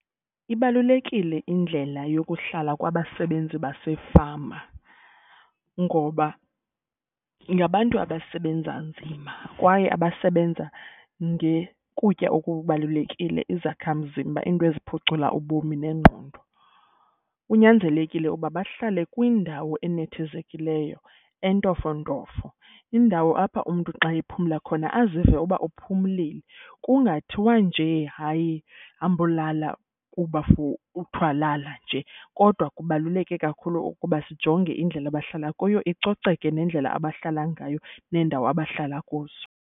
Ibalulekile indlela yokuhlala kwabasebenzi basefama ngoba ngabantu abasebenza nzima kwaye abasebenza ngekutya okubalulekile izakha mzimba into eziphucula ubomi nengqondo. Kunyanzelekile uba bahlale kwindawo enethezekileyo entofontofo indawo apha umntu xa ephumla khona azive uba uphumlile. Kungathiwa njee hayi hambolala kuba for kuthwa lala nje. Kodwa kubaluleke kakhulu ukuba sijonge indlela abahlala kuyo icoceke nendlela abahlala ngayo neendawo abahlala kuzo.